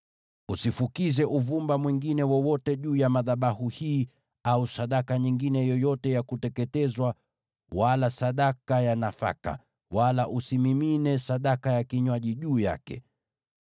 Usifukize uvumba mwingine wowote juu ya madhabahu haya au sadaka nyingine yoyote ya kuteketezwa wala sadaka ya nafaka, wala usimimine sadaka ya kinywaji juu yake.